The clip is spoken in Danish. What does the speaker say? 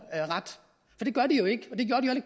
det gør de jo ikke